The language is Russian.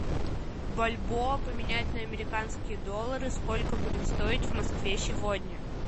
бальбоа поменять на американские доллары сколько будет стоить в москве сегодня